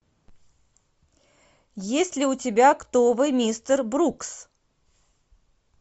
есть ли у тебя кто вы мистер брукс